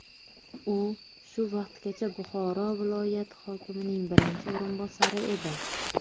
U shu vaqtgacha Buxoro viloyati hokimining birinchi o‘rinbosari edi.